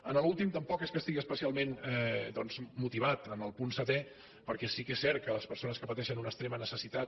en l’últim tampoc es que estigui especialment doncs motivat en el punt setè perquè sí que és cert que les persones que pateixen una extrema necessitat